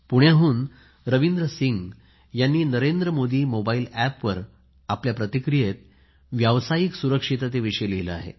पुण्याहुन रवींद्र सिंह यांनी नरेंद्र मोदी मोबाईल एपवर आपल्या प्रतिक्रियेत व्यावसायिक सुरक्षितते विषयी लिहिले आहे